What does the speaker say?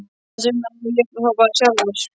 Þess vegna át ég þá bara sjálfur.